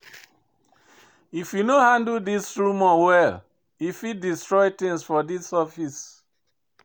If you no handle dis rumor well, e fit destroy tins for dis office.